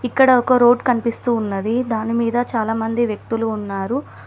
ఇక్కడ ఒక రోడ్ కన్పిస్తూ ఉన్నది దాని మీద చాలా మంది వ్యక్తులు ఉన్నారు.